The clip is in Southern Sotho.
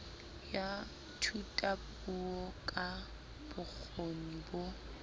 ya thutapuo ka bokgoni bo